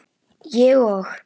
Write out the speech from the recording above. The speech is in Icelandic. Ég og